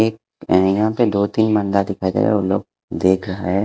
एक यहाँ पे दो तीन बंदा दिखाई दे रहा है वो लोग देख रहा है।